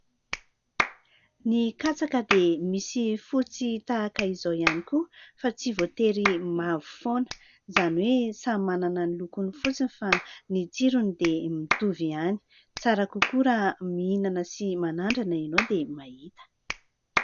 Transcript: Ny katsaka dia misy fotsy tahaka izao ihany koa fa tsy voatery mavo foana, izany hoe samy manana ny lokony fotsiny fa ny tsirony dia mitovy ihany. Tsara kokoa raha mihinana sy manandrana ianao dia mahita.